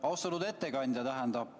Austatud ettekandja!